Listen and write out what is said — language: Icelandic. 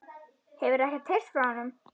Hefurðu ekkert heyrt frá honum?